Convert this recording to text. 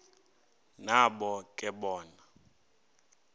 nabo ke bona